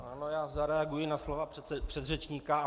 Ano, já zareaguji na slova předřečníka.